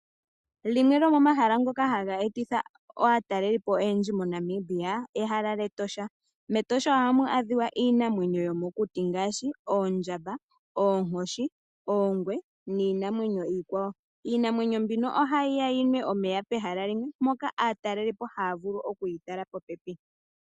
Limwe lyomomahala ngoka haga etitha aatalelipo oyendji moNamibia ehala lyEtosha. Metosha ohamu adhiwa iinamwenyo yomokuti ngaashi oondjamba, oonkoshi, oongwe niinamwenyo iikwawo. Iinamwenyo mbino ohayi ya yinwe omeya pehala limwe moka aatalelipo haya vulu okuyi tala popepi.